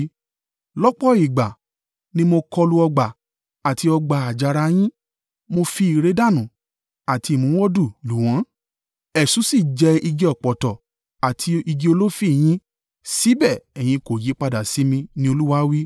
“Lọ́pọ̀ ìgbà ni mo kọlu ọgbà àti ọgbà àjàrà yín mo fi ìrẹ̀dànù àti ìmúwòdù lù wọ́n. Eṣú sì jẹ igi ọ̀pọ̀tọ́ àti igi olifi yín, síbẹ̀ ẹ̀yin kò yípadà sí mi,” ni Olúwa wí.